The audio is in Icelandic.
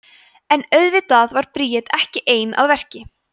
en auðvitað var bríet ekki ein að verki